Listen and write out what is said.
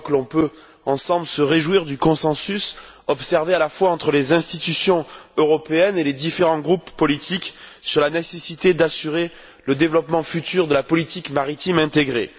Je crois que l'on peut, ensemble, se réjouir du consensus observé à la fois entre les institutions européennes et les différents groupes politiques sur la nécessité d'assurer le développement futur de la politique maritime intégrée.